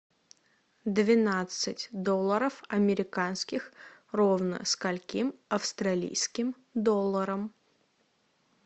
двенадцать долларов американских ровно скольким австралийским долларам